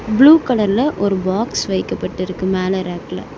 Blue கலர்ல ஒரு box வைக்கப்பட்டு இருக்கு மேல ரேக்ல .